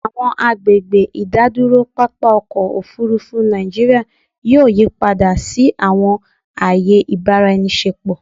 Awọn agbegbe idaduro papa ọkọ ofurufu Naijiria yoo yipada si awọn aaye ibaraenisepo